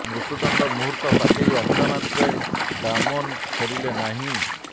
ମୃତ୍ୟୁଦଣ୍ଡ ମୁହୂର୍ତ୍ତ ପାଖେଇ ଆସିଲା ମାତ୍ର ଡାମୋନ୍ ଫେରିଲେ ନାହିଁ